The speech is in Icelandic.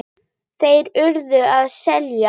Þeir URÐU að selja.